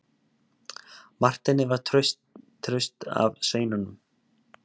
Marteini var traust að sveinunum.